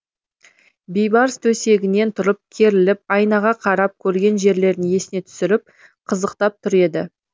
бейбарс төсегінен тұрып керіліп айнаға қарап көрген жерлерін есіне түсіріп қызықтап тұр еді